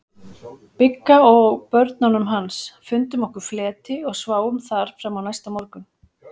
Bigga og börnunum hans, fundum okkur fleti og sváfum þar fram á næsta morgun.